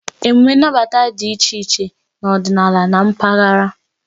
Emume nnabata dị iche iche n'ọdịnala na mpaghara.